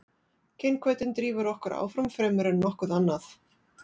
kynhvötin drífur okkur áfram fremur en nokkuð annað